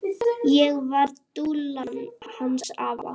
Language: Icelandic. Ég var dúllan hans afa.